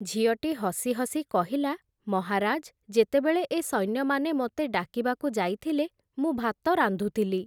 ଝିଅଟି ହସି ହସି କହିଲା, ‘ମହାରାଜ୍ ଯେତେବେଳେ ଏ ସୈନ୍ୟମାନେ ମୋତେ ଡାକିବାକୁ ଯାଇଥିଲେ, ମୁଁ ଭାତ ରାନ୍ଧୁଥିଲି ।